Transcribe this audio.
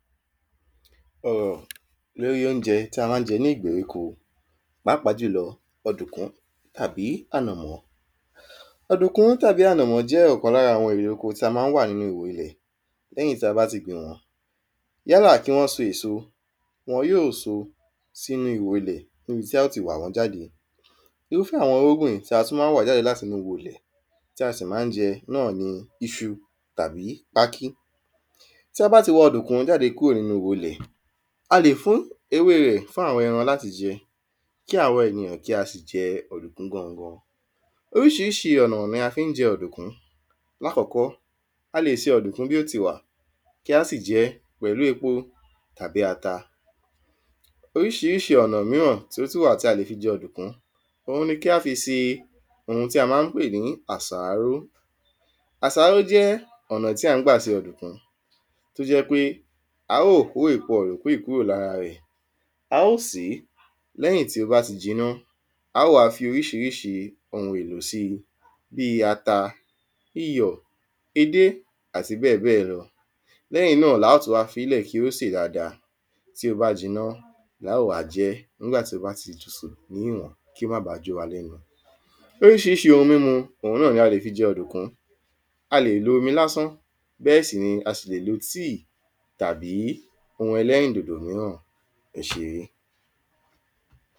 Ọ̀rọ̀ l’órí óunjẹ tí a má n jẹ ní ìgbèríko pàápàá jùlọ ọ̀dùnkún àbí ànàmọ́ Ọ̀dùnkún àbí ànàmọ́ jẹ́ ọ̀kan l’ára erè oko tí a má ń wà niínu ihò ilẹ̀ l’ẹ́yìn tí a bá ti gbìn wọ́n. Yálà kí wọ́n so èso, wọn yóò s'ínú ihò ilẹ̀ n'íbi tí á ó ti wà wọ́n jáde. Irúfẹ́ àwọn irúgbìn tí a tú má ń wà jáde l’áti inú ihò ilẹ̀ tí a sì má ń jẹ náà ni iṣu tàbí pákí. T’a bá ti wa ọ̀dùnkún jáde l’áti inú ihò ilẹ̀, a lè fún ewé rẹ̀ fún àwọn ẹran l’áti jẹ kí àwa enìyan kí a si jẹ ọ̀dùnkún gangan Oríṣiríṣi ọ̀nà ni a fí ń jẹ ọ̀dùnkún Lákọ́kọ́, a lè se ọ̀dùnkún bí ó ti wà kí a sì jẹ́ pẹ̀lú epo àbí ata. Oríṣiríṣi ọ̀nà míràn tí ó tú wà tí a lè fi jẹ ọ̀dùnkún òun ni kí a fi se ohun tí a má ń pè ní àsáró. Àsáró jẹ́ ọ̀nà tí a má ń gbà se ọ̀dùnkún t’ó jẹ́ pé a ó bó èpo ọ̀dùnkún yí kúrò l’ára rẹ̀. A ó sè é. L’ẹ́yìn tí ́ bá ti jiná, a ó wá fi oríṣiríṣi ohun èlò si bí ata, iyọ̀, edé àti bẹ́ẹ̀ bẹ́ẹ̀ lọ. L’ẹ́yìn náà la ó tú wá f'ilẹ̀ kí ó sè dada. Tí ó bá jiná, l’a ó wá jẹ́ n'ígbà tí ó bá ti tutù si ní ìwọ̀n kí ó má ba jó wa l'ẹ́nu Oríṣiríṣi ohun m'ímu òun náà ni a lè fi jẹ ọ̀dùnkún A lè lo omi lásán bẹ́ẹ̀ sì ni a sì lè lo tíì tàbí ohun ẹlẹ́rìndòdò míràn. Ẹ ṣé